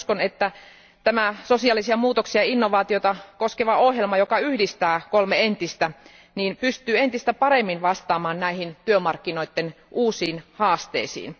Uskon, että tämä sosiaalisia muutoksia ja innovaatiota koskeva ohjelma, joka yhdistää kolme entistä ohjelmaa, pystyy entistä paremmin vastaamaan näihin työmarkkinoiden uusiin haasteisiin.